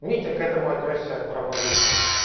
митя к этому отнёсся равнодушно